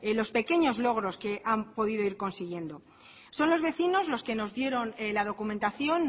los pequeños logros que han podido ir consiguiendo son los vecinos los que nos dieron la documentación